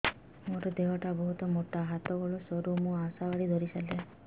ମୋର ଦେହ ଟା ବହୁତ ମୋଟା ହାତ ଗୋଡ଼ ସରୁ ମୁ ଆଶା ବାଡ଼ି ଧରି ଚାଲେ